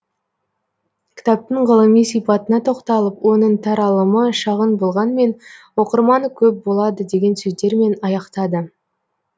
кітаптың ғылыми сипатына тоқталып оның таралымы шағын болғанмен оқырманы көп болады деген сөздермен аяқтады